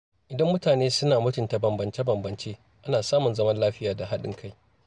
Idan mutane suna mutunta bambance-bambance, ana samun zaman lafiya da haɗin kai.